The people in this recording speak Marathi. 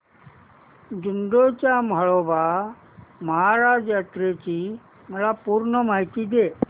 दोडी च्या म्हाळोबा महाराज यात्रेची मला पूर्ण माहिती दे